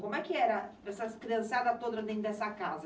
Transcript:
Como é que era essas criançada toda dentro dessa casa?